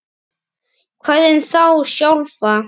Hvað um þá sjálfa?